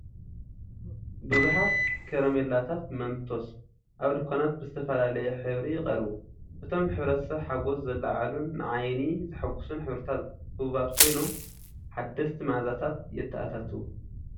ብዙሓት ካራሜላታት መንቶስ ኣብ ድኳናት ብዝተፈላለየ ሕብሪ ይቐርቡ። እቶም ሕብረተሰብ ሓጎስ ዝለዓዓሉን ንዓይኒ ዘሐጉሱን ሕብርታት ህቡባት ኮይኖም ሓደስቲ መኣዛታት ይተኣታተዉ።